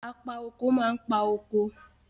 Apa kóko máa ń pa kóko.